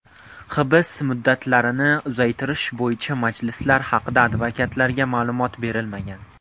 Hibs muddatlarini uzaytirish bo‘yicha majlislar haqida advokatlarga ma’lumot berilmagan.